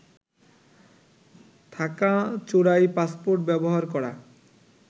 থাকা চোরাই পাসপোর্ট ব্যবহার করা